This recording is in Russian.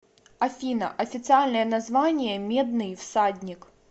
афина официальное название медный всадник